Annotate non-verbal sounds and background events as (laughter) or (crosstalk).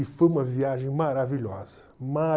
(unintelligible) E foi uma viagem maravilhosa.